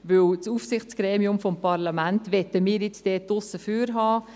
Denn wir möchten das Aufsichtsgremium des Parlaments dort aussen vor lassen.